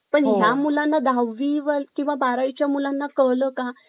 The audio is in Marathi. पण या मुलांना दहावी वी किंवा बारावी च्या मुलांना कळ का